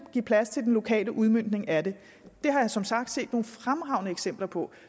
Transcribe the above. give plads til den lokale udmøntning af det det har jeg som sagt set nogle fremragende eksempler på